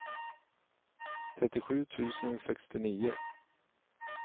trettiosju tusen sextionio